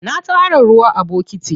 Na tara ruwa a bokiti.